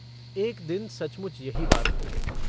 एक दिन सचमुच यही बात हो गई।